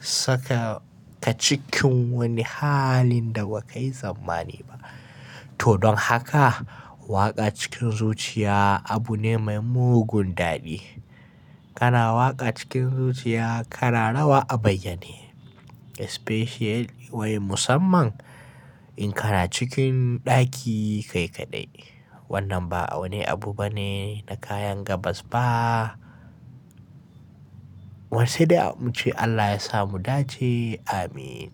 saka ka cikin wani halin da ba ka yi tsammani ba. To don haka waƙa cikin zuciya abu ne mai mugun daɗi. Kana waƙa cikin zuciya kana rawa a bayyane especially wai musamman in kana cikin ɗaki kai kaɗai. Wannan ba wani abu bane na kayan gabas ba. Waisai dai muce Allah ya sa mu dace. Amin.